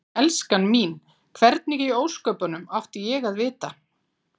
Elskan mín. hvernig í ósköpunum átti ég að vita.